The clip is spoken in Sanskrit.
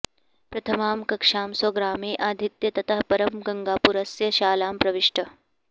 प्रथमां कक्षां स्वग्रामे अधीत्य ततः परं गङ्गापुरस्य शालां प्रविष्टः